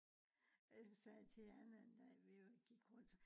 Jeg sagde til Anne en dag vi gik rundt